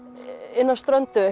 inn af ströndu